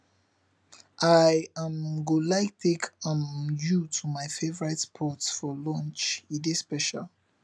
i um go like take um you to my favorite spot for lunch e dey special